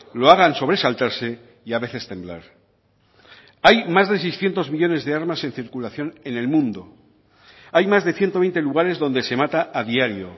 lo hagan sobresaltarse y a veces temblar hay más de seiscientos millónes de armas en circulación en el mundo hay más de ciento veinte lugares donde se mata a diario